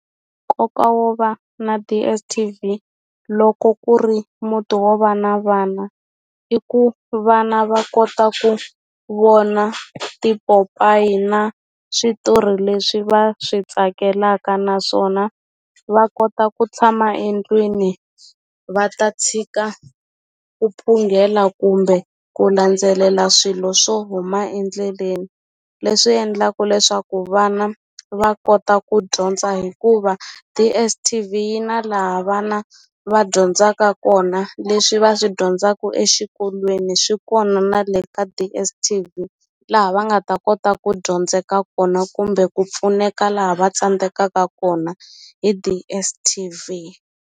Nkoka wo va na DSTV loko ku ri muti wo va na vana i ku vana va kota ku vona tipopayi na switori leswi va swi tsakelaka naswona va kota ku tshama endlwini va ta tshika ku phungela kumbe ku landzelela swilo swo huma endleleni leswi endlaku leswaku vana va kota ku dyondza hikuva DSTV yi na laha vana va dyondzaka kona leswi va swi dyondzaku exikolweni swi kona na le ka DSTV laha va nga ta kota ku dyondzeka kona kumbe ku pfuneka laha va tsandzekaka kona hi DSTV.